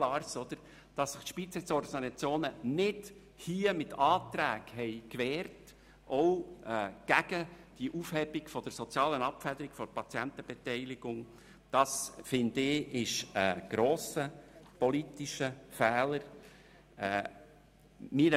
Dass sich die Spitexorganisationen hier nicht mit Anträgen gegen die Aufhebung der sozialen Abfederung der Patientenbeteiligung zur Wehr gesetzt haben, ist ein grosser politischer Fehler.